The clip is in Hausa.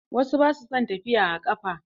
Wasu ba su son tafiya a ƙafa.